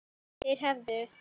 Þeir hefðu